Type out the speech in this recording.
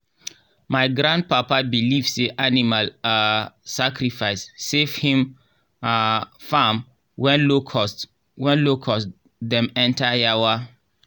my grandpapa believe say animal um sacrifice save him um farm when locust when locust dem enter yawa.